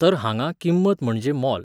तर हांगा किंमत म्हणजे मोल.